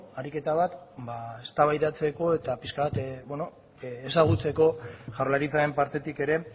ariketa bat eztabaidatzeko eta pixka bat ezagutzeko jaurlaritzaren partetik ere